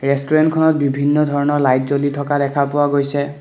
ৰেষ্টোৰেন্টখনত বিভিন্ন ধৰণৰ লাইট জ্বলি থকা দেখা পোৱা গৈছে।